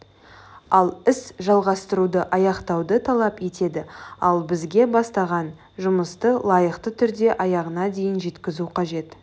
ал іс жалғастыруды аяқтауды талап етеді ал бізге бастаған жұмысты лайықты түрде аяғына дейін жеткізу қажет